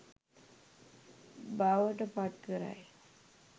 බවට පත් කරයි.